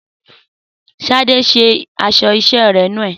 Sadé ṣe aṣọ iṣẹ́ rẹ̀ nùu